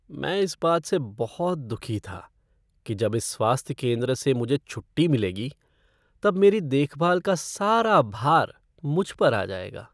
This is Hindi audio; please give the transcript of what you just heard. मैं इस बात से बहुत दुखी हूँ कि जब इस स्वास्थ्य केंद्र से मुझे छुट्टी मिलेगी तब मेरी देखभाल का सारा भार मुझ पर आ जाएगा।